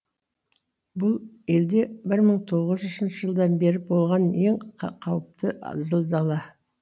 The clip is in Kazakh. бұл елде бір мың тоғыз жүзінші жылдан бері болған ең қауіпті зілзала